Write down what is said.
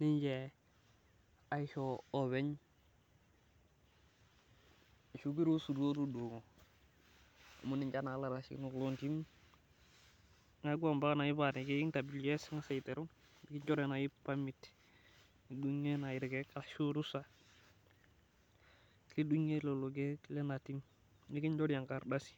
nonche aisho oopeny ashu kiruisutup tudungo amu ninche naa ilaitashekinok loo ntimi. neekku mpaka neeku te Kws, itangasa aiteru, pee orusa lidungie irkeek leina tim. nikinchori enkardasi.